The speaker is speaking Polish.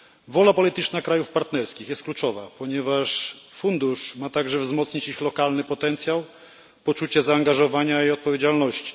Wola polityczna krajów partnerskich jest kluczowa, ponieważ fundusz ma także wzmocnić ich lokalny potencjał poczucia zaangażowania i odpowiedzialności.